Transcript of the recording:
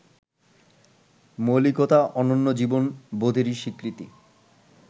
মৌলিকতা ,অনন্য জীবন বোধেরই স্বীকৃতি